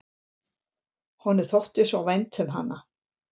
Honum þótti svo vænt um hann.